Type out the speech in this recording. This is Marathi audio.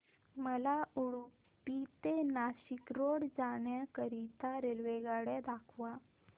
मला उडुपी ते नाशिक रोड जाण्या करीता रेल्वेगाड्या दाखवा